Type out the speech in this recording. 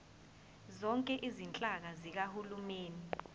zonke izinhlaka zikahulumeni